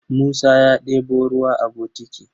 Musa ya ɗebo ruwa a bokiti.